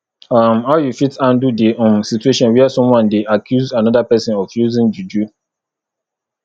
um how you fit handle di um situation where someone dey accuse anoda pesin of using juju